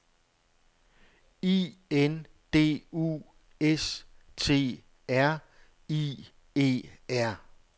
I N D U S T R I E R